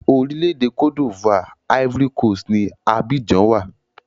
Orílẹ̀-èdè Cote D'ivoire (Ivory Coast) ni Abidjan wà.